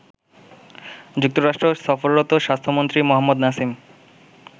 যুক্তরাষ্ট্র সফররত স্বাস্থ্যমন্ত্রী মোহাম্মদ নাসিম